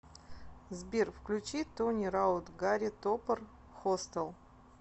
сбер включи тони раут гарри топор хостел